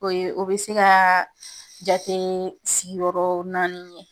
O bɛ se ka jate sigiyɔrɔ naani ye.